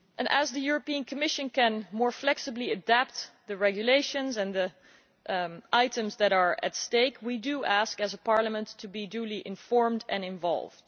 As the Commission can more flexibly adapt the regulations and the items that are at stake, we do ask, as a Parliament, to be duly informed and involved.